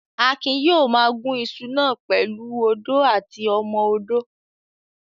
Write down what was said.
Akin yóò ma gún iṣu náà pẹ̀lú u odó àti ọmọ odó